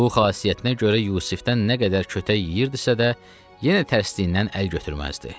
Bu xasiyyətinə görə Yusifdən nə qədər kötək yeyirdisə də, yenə tərsliyindən əl götürməzdi.